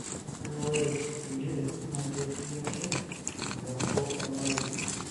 kake ,ore kulie naa ketii ake empeku olmarei.